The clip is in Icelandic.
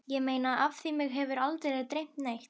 Ég meina af því mig hefur aldrei dreymt neitt.